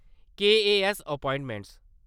KAS appointment